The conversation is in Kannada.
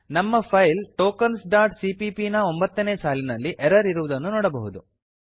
ನಮ್ಮ ಫೈಲ್ ಟೋಕೆನ್ಸ್ ಡಾಟ್ ಸಿಪಿಪಿ ನ ಒಂಬತ್ತನೇ ಸಾಲಿನಲ್ಲಿ ಎರರ್ ಇರುವುದನ್ನು ನೋಡಬಹುದು